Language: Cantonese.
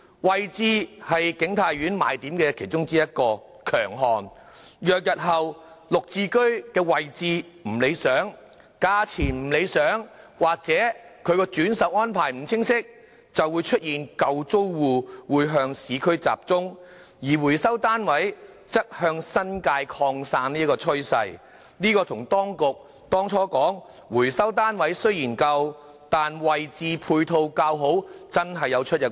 位置是景泰苑的其中一個賣點，若日後"綠置居"的位置不理想，價錢不理想或轉售安排不清晰，便會出現舊租戶向市區集中，回收單位則向新界擴散的趨勢，這與當局當初說回收單位雖然舊，但位置配套較好的說法確實有出入。